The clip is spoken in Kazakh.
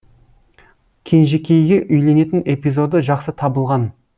кенжекейге үйленетін эпизоды жақсы табылған